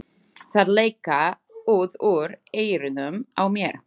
Þær leka út úr eyrunum á mér.